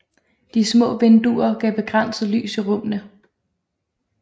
De små vinduer gav begrænset lys i rummene